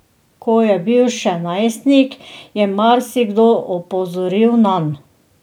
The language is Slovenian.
Ko je bil še najstnik, je marsikdo opozoril nanj.